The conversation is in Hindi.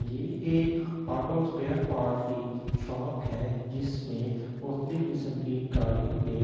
ये एक ऑटो स्‍पेयर पोर्ट की शॉप है जिसमें मुकतलिब किस्‍म की गाडि़यों के पार्ट --